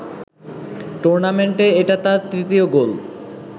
টুর্নামেন্টে এটা তার তৃতীয় গোল